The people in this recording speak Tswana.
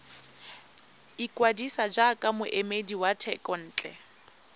ikwadisa jaaka moemedi wa thekontle